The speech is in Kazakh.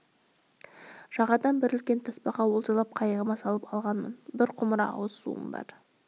жағадан бір үлкен тасбақа олжалап қайығыма салып алғанмын бір құмыра ауыз суым бар